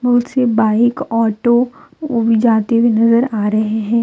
कुछ bike auto ओ भी जाते हुए नजर आ रहे हैं।